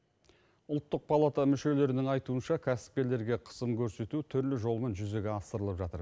ұлттық палата мүшелерінің айтуынша кәсіпкерлерге қысым көрсету түрлі жолмен жүзеге асырылып жатыр